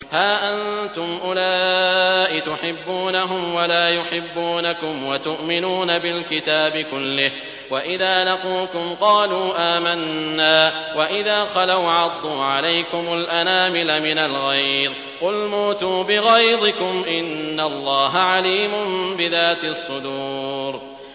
هَا أَنتُمْ أُولَاءِ تُحِبُّونَهُمْ وَلَا يُحِبُّونَكُمْ وَتُؤْمِنُونَ بِالْكِتَابِ كُلِّهِ وَإِذَا لَقُوكُمْ قَالُوا آمَنَّا وَإِذَا خَلَوْا عَضُّوا عَلَيْكُمُ الْأَنَامِلَ مِنَ الْغَيْظِ ۚ قُلْ مُوتُوا بِغَيْظِكُمْ ۗ إِنَّ اللَّهَ عَلِيمٌ بِذَاتِ الصُّدُورِ